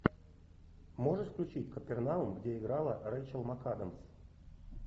можешь включить капернаум где играла рейчел макадамс